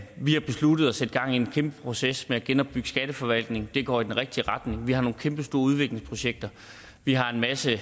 vi har besluttet at sætte gang i en kæmpe proces med at genopbygge skatteforvaltningen det går i den rigtige retning vi har nogle kæmpestore udviklingsprojekter vi har en masse